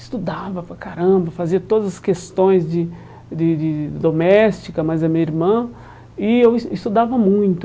Estudava para caramba, fazia todas as questões de de de doméstica, mais a minha irmã, e eu es estudava muito.